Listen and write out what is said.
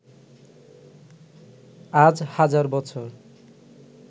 আজ হাজার বছর